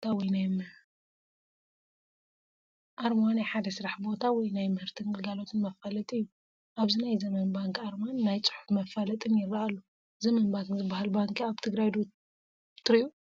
ኣርማ ናይ ሓደ ስራሕ ቦታ ወይ ናይ ምህርትን ግልጋሎት መፋለጢ እዩ፡፡ ኣብዚ ናይ ዘመን ባንክ ኣርማን ናይ ፅሑፍ መፋለጥን ይረአ ኣሎ፡፡ ዘመን ባንክ ዝባሃል ባንኪ ኣብ ትግራይ ዶ ትሪኡ?